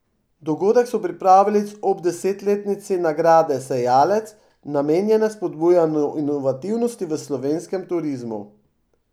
Dogodek so pripravili ob desetletnici nagrade sejalec, namenjene spodbujanju inovativnosti v slovenskem turizmu.